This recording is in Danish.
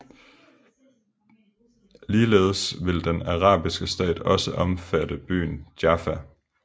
Ligeledes ville den arabiske stat også omfatte byen Jaffa